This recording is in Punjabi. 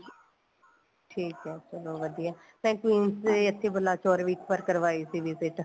ਠੀਕ ਏ ਚਲੋ ਵਧੀਆ ਮੈਂ queens ਦੇ ਇੱਥੇ ਵਲਾ ਚੋਰ ਵੀ ਇੱਕ ਵਾਰ ਕਰਵਾਈ ਸੀ visit